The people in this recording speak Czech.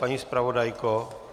Paní zpravodajko?